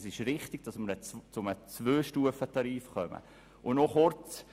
Deshalb sind wir der Auffassung, ein Zweistufentarif sei richtig.